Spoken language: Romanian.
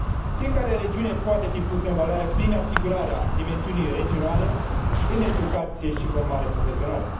Fiecare regiune poate fi pusă în valoare prin asigurarea dimensiunii regionale în educație și formare profesională.